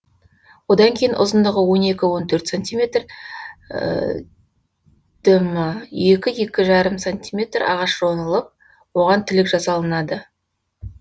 одан кейін ұзындығы он екі он төрт сантиметр дм екі екі жарым сантиметр ағаш жонылып оған тілік жасалынады